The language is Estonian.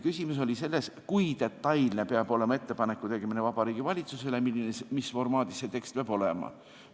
Küsimus oli selles, kui detailne peab olema Vabariigi Valitsusele tehtav ettepanek ja mis formaadis selle tekst peab olema.